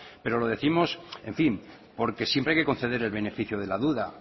pero lo décimos en fin porque siempre hay que conceder el beneficio de la duda